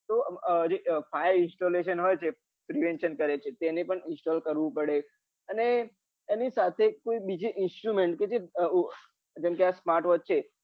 તો આમ fire installation હોય છે prevention કરે છે તેને પણ install કરવું પડે અને એની સાથે કોઈ બીજી instrument કે જ જેમ કે આ smart watch છે